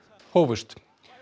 hófust